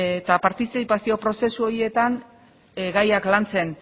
eta partizipazio prozesu horretan gaiak lantzen